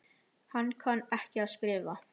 Hann kann ekki að skrifa.